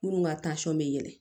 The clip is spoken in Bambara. Minnu ka bɛ yɛlɛn